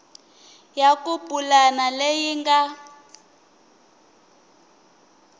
ya ku pulana leyi nga